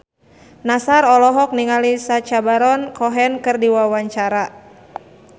Nassar olohok ningali Sacha Baron Cohen keur diwawancara